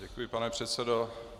Děkuji, pane předsedo.